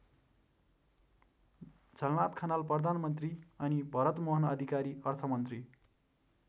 झलनाथ खनाल प्रधानमन्त्री अनि भरतमोहन अधिकारी अर्थमन्त्री।